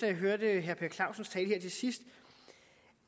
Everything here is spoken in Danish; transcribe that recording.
jeg hørte herre per clausens tale her til sidst